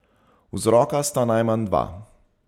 Vzroka sta najmanj dva.